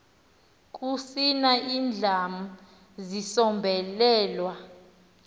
kusina indlam zisombelelwa